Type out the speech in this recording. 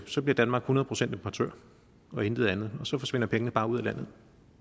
så bliver danmark hundrede procent importør og intet andet og så forsvinder pengene bare ud